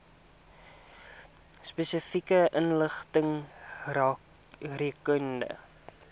spesifieke inligting rakende